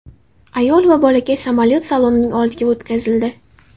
Ayol va bolakay samolyot salonining oldiga o‘tkazildi.